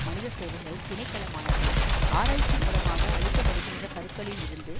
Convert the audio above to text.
மனித சேவைகள் திணைக்களமானது ஆராய்ச்சி மூலமாக அழிக்கப்படுகின்ற கருக்களில் இருந்து